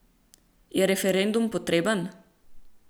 Je referendum potreben?